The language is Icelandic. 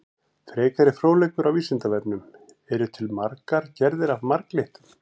Frekari fróðleikur á Vísindavefnum: Eru til margar gerðir af marglyttum?